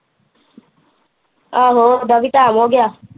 ਆਹੋ ਉਹਡਾ ਦਾ ਵੀ ਟੈਮ ਹੋਗਿਆ